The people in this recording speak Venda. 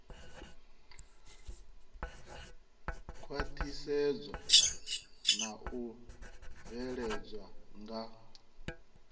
khwaṱhisedzwa na u bveledzwa nga